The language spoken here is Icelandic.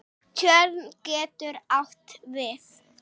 Tjörn getur átt við